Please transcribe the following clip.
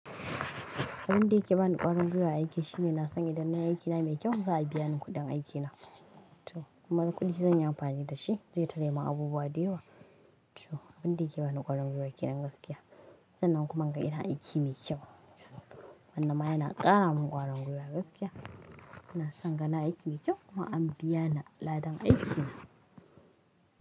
Abin da yake bani ƙwarangwata aiki shine na san idan na yi aikina mai kyau za a biya ni kuɗin aikina. To kuma kuɗin zan yi amfani da shi zai tallafa abubuwa da yawa. To abin da yake bani ƙwarangwata aiki nan gaskiya, sannan kuma in ga ina aiki mai kyau. Ballema yana ƙara min ƙwarin gwiwa gaskiya. Ina son kana aiki mai kyau kuma an biya ni aladan aikina.